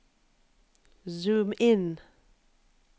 zoom inn